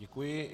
Děkuji.